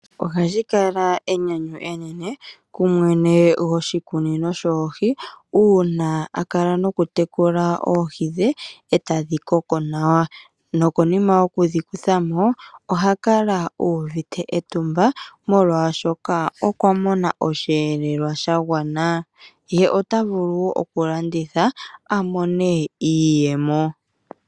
Ohashi kala enyanyu enene kumwene goshikunino shoohi uuna a kala nokutekula oohi dhe eta dhi koko nawa nokonima yokudhi kuthamo oha kala uuvite etumba molwaashoka okwa mona osheelelwa sha gwana ye ota vulu okulanditha amone iiyemo